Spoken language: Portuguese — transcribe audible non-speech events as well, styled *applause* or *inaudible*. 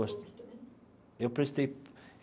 *unintelligible* Eu prestei.